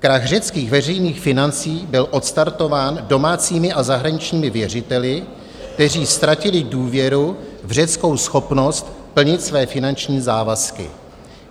Krach řeckých veřejných financí byl odstartován domácími a zahraničními věřiteli, kteří ztratili důvěru v řeckou schopnost plnit své finanční závazky.